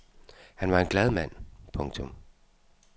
Han var en glad mand. punktum